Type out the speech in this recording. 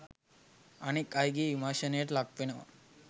අනෙක් අයගේ විමර්ශනයට ලක්වෙනවා.